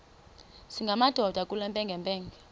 singamadoda kule mpengempenge